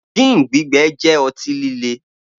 Gin gbígbẹ jẹ́ ọtí líle